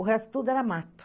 O resto tudo era mato.